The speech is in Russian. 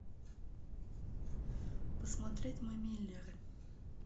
посмотреть мы миллеры